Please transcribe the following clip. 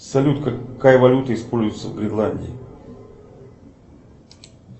салют какая валюта используется в гренландии